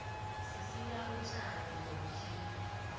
sisika utjani ngomtjhini